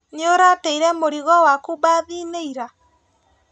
Nĩũrateire mũrigo waku mbathiinĩ ira?